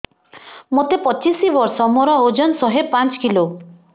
ମୋତେ ପଚିଶି ବର୍ଷ ମୋର ଓଜନ ଶହେ ପାଞ୍ଚ କିଲୋ